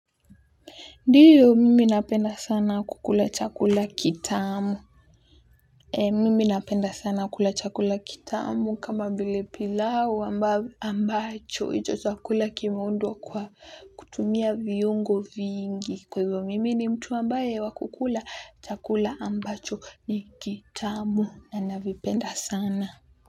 Ndiyo, mimi napenda sana kukula chakula kitamu. Mimi napenda sana kukula chakula kitamu kama vile pilau ambacho. Hicho chakula kimaundwa kwa kutumia viungo vingi. Kwa hivyo, mimi ni mtu ambaye wa kukula chakula ambacho ni kitamu. Na navipenda sana.